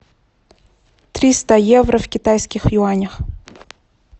триста евро в китайских юанях